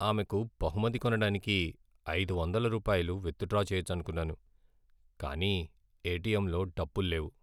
ఆమెకు బహుమతి కొనడానికి ఐదు వందల రూపాయలు విత్డ్రా చేయొచ్చనుకున్నాను, కానీ ఎటిఎంలో డబ్బుల్లేవు.